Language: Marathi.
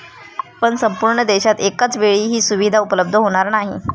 पण संपूर्ण देशात एकाचवेळी ही सुविधा उपलब्ध होणार नाही.